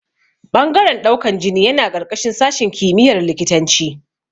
Ɓangaren ɗaukan jini yana ƙarƙashin sashin kimiyar likitanci